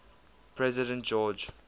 president george